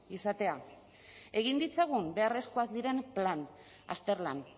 izatea egin ditzagun beharrezkoak diren plan azterlan